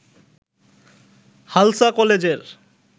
হালসা কলেজের